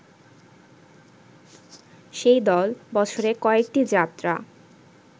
সেই দল বছরে কয়েকটি যাত্রা